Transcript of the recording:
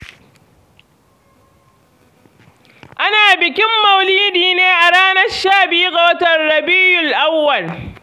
Ana bikin Mauludi ne a ranar sha biyu ga watan Rabiyul Awwwal.